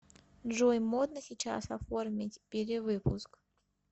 джой модно сейчас оформить перевыпуск